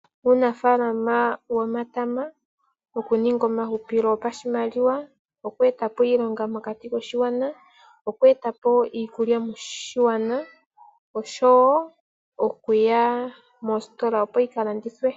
Uunafaalama womatama wokuninga omahupilo gopashimaliwa, goku eta po iilonga mokati koshigwana, okueta po iikulya moshigwana oshowo okuya mositola, opo yi ka landithwe.